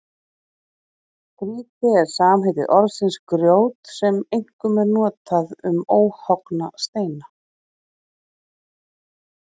Grýti er samheiti orðsins grjót sem einkum er notað um óhöggna steina.